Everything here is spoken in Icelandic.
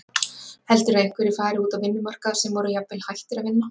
Heldurðu að einhverjir fari út á vinnumarkað sem voru jafnvel hættir að vinna?